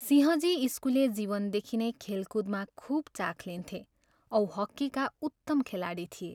सिंहजी स्कुले जीवनदेखि नै खेलकुदमा खुब चाख लिन्थे औ हक्कीका उत्तम खेलाडी थिए।